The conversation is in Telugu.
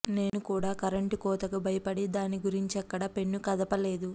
నేను కూడా కరెంటు కోతకు భయపడి దాని గురించెక్కడా పెన్ను కదపలేదు